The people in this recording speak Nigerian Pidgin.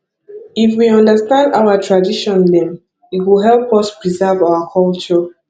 if we understand our tradition dem e go help us preserve our culture